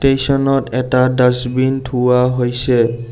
ষ্টেচনত এটা ডাচবিন থোৱা হৈছে।